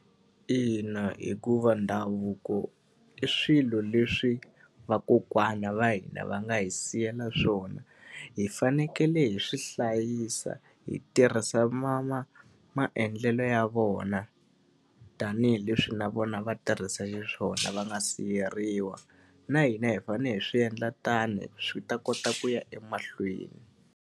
Ina hikuva ndhavuko i swilo leswi vakokwana va hina va nga hi siyela swona. Hi fanekele hi swi hlayisa, hi tirhisa maendlelo ya vona, tanihileswi na vona va tirhisa hi swona va nga siveriwa. Na hina hi fanele hi swi endla tano swi ta kota ku ya emahlweni.